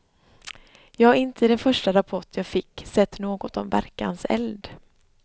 Jag har inte i den första rapport jag fick sett något om verkanseld.